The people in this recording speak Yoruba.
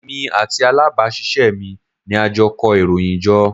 Èmi àti alábàásisẹ́ mi ni a jọ kó ìròyìn jọ.